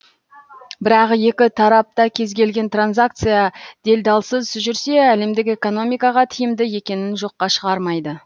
бірақ екі тарап та кез келген транзакция делдалсыз жүрсе әлемдік экономикаға тиімді екенін жоққа шығармайды